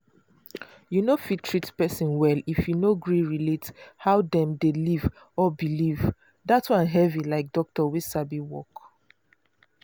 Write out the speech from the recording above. you no fit treat person well if you no gree relate how dem dey live or believe that one heavy like doctor wey sabi work.